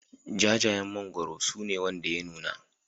Jajayen mangwaro su ne wanda ya nuna